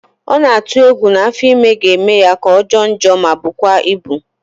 Ọ na-atụ egwu na afọ ime ga-eme ya ka ọ jọọ njọ ma bụkwa ịbụ